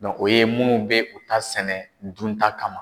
o ye munnu be u ta sɛnɛ dunta kama.